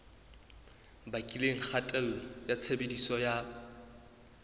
bakileng kgatello ya tshebediso ya